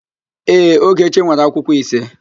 Ee, Ogechi nwere akwụkwọ ise.